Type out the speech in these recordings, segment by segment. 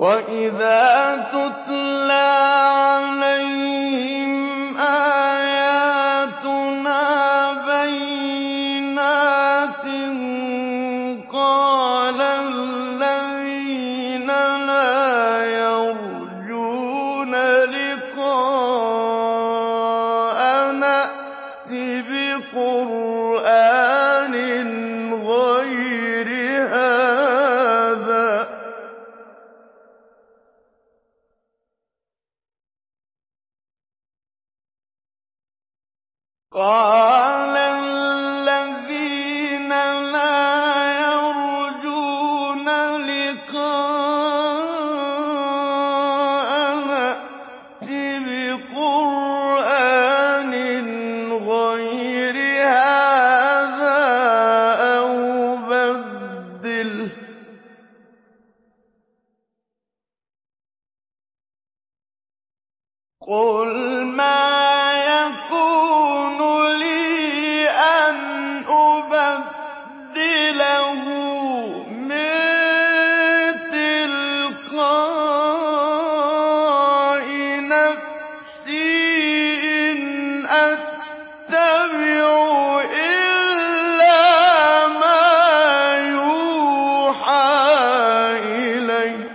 وَإِذَا تُتْلَىٰ عَلَيْهِمْ آيَاتُنَا بَيِّنَاتٍ ۙ قَالَ الَّذِينَ لَا يَرْجُونَ لِقَاءَنَا ائْتِ بِقُرْآنٍ غَيْرِ هَٰذَا أَوْ بَدِّلْهُ ۚ قُلْ مَا يَكُونُ لِي أَنْ أُبَدِّلَهُ مِن تِلْقَاءِ نَفْسِي ۖ إِنْ أَتَّبِعُ إِلَّا مَا يُوحَىٰ إِلَيَّ ۖ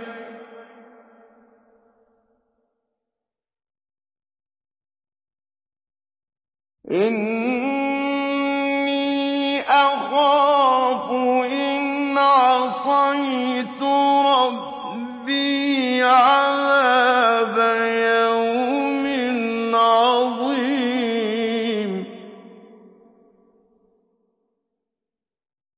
إِنِّي أَخَافُ إِنْ عَصَيْتُ رَبِّي عَذَابَ يَوْمٍ عَظِيمٍ